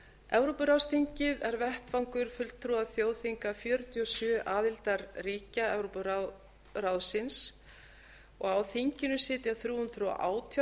evrópuráðsþingið er vettvangur fulltrúa þjóðþinga fjörutíu og sjö aðildarríkja evrópuráðsins á þinginu sitja þrjú hundruð og átján